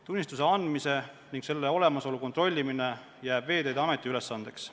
Tunnistuse andmise ning selle olemasolu kontrollimine jääb Veeteede Ameti ülesandeks.